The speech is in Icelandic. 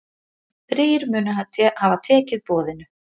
Þrír munu hafa tekið boðinu.